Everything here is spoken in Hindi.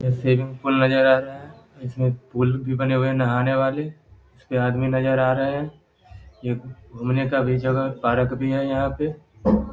यहाँ से एक पुल नजर आ रहा है इसमें पूल भी बने हुए है नहाने वाले इसमें आदमी नजर आ रहा है जो घूमने का भी जगह पारक भी है यहाँ पे ।